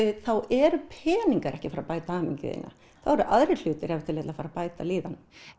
þá eru peningar ekki að fara að bæta hamingju þína þá eru aðrir hlutir ef til vill að fara að bæta líðan